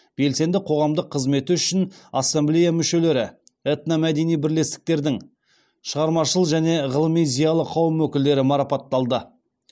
белсенді қоғамдық қызметі үшін ассамблея мүшелері этномәдени бірлестіктердің шығармашыл және ғылыми зиялы қауым өкілдері марапатталды